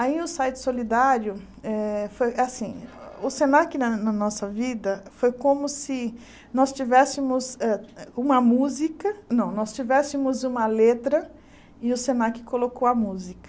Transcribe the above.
Aí o site Solidário eh foi assim, o Senac na nossa vida foi como se nós tivéssemos eh uma música, não, nós tivéssemos uma letra e o Senac colocou a música.